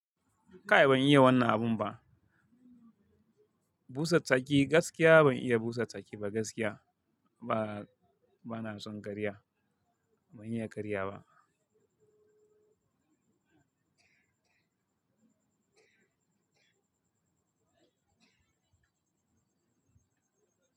Kai ban iya wannan abun ba. Busa tsaki gaskiya ban iya busa tsaki ba gaskiya. Ba, bana son karya. Ban iya karya ba.